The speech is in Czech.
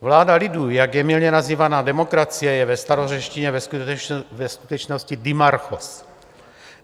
Vláda lidu, jak je mylně nazývaná demokracie, je ve starořečtině ve skutečnosti dimarchos (?).